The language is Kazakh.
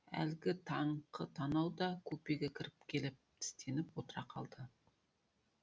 әлгі таңқы танау да купеге кіріп келіп тістеніп отыра қалды